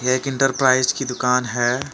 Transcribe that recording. एक इंटरप्राइज की दुकान है।